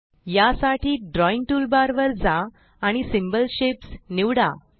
यासाठी drawing toolbar वर जा आणिSymbol शेप्स निवडा